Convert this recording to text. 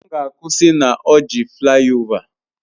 M ga-akwụsị na Orji flayova